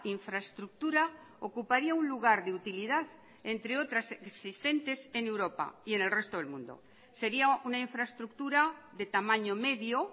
infraestructura ocuparía un lugar de utilidad entre otras existentes en europa y en el resto del mundo sería una infraestructura de tamaño medio